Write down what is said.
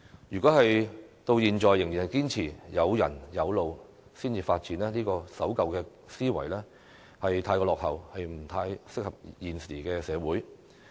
如果政府至今仍然堅持有人有路才會發展的守舊思維，便未免過於落後，不合時宜。